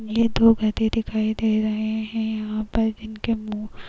ये दो गधे दिखाई दे रहे है यहाँ पर इनके मुँह --